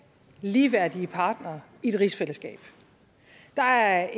ligeværdige partnere i et rigsfællesskab der er